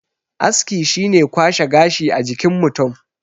aski shi ne kwashe gashi a jikin mutum